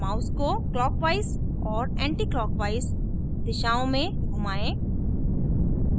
mouse को clockwise और anticlockwise दिशाओं में घुमाएं